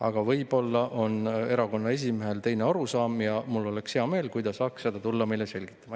Aga võib-olla on erakonna esimehel teine arusaam ja mul oleks hea meel, kui ta saaks tulla seda meile selgitama.